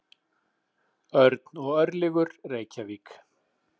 Örn og Örlygur, Reykjavík.